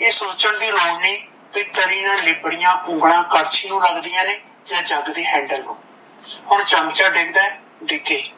ਇਹ ਸੋਚਣ ਦੀ ਲੋੜ ਨਹੀਂ ਭਈ ਤਰੀ ਨਾਲ ਲਿੱਬੜਿਆ ਉਂਗਲ ਕੜਛੀ ਨੂੰ ਲੱਗਦੀਆਂ ਨੇ ਜਾ ਜਗ ਦੇ handle ਨੂੰ ਚਮਚਾ ਡਿੱਗਦਾ ਡਿੱਗੇ